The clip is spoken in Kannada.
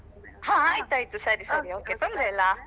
ಹಾ ಆಯ್ತಾಯ್ತು ಸರಿ ಸರಿ okay ತೊಂದ್ರೆ ಇಲ್ಲ.